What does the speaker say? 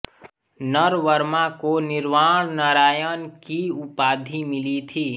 नरवर्मा को निर्वाण नारायण की उपाधि मिली थी